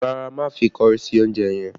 Rárá, má fi kọrí sí oúnjẹ yẹn